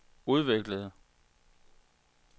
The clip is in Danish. udviklede